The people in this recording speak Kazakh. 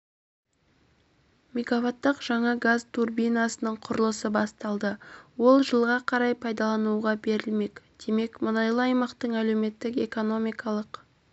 мегаваттық жаңа газ турбинасының құрылысы басталды ол жылға қарай пайдалануға берілмек демек мұнайлы аймақтың әлеуметтік-экономикалық